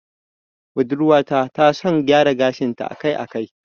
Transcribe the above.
Budurwa ta ta son gyara gashin ta a kai a kai